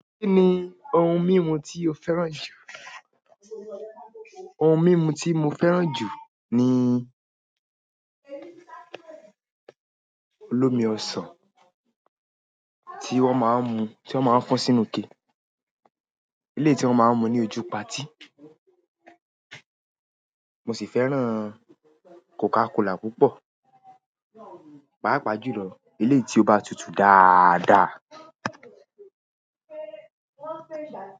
Kí ni ohun mímu tí o fẹ́ràn jù? Ohun mímu tí mo fẹ́ràn jù ni olómi ọsàn tí wón máa ń mu, tí wón máa ń fọn sínú ke. Ilé tí wón máa ń mu ní ojú patí. Mo sì fẹ́ràn Coca Cola púpọ̀. Páápàá jù lọ eleyi tí ó bá tutù dáadáa.